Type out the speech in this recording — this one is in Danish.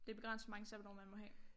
Det begrænset hvor mange sabbatår man må have